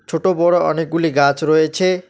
ছোটো বড়ো অনেকগুলি গাছ রয়ছে।